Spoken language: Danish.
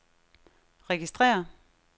registrér